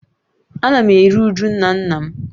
Ana m eru uju nna nna m